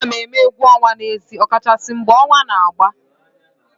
A na-eme egwu ọnwa n'ezi ọ kachasị mgbe ọnwa na-agba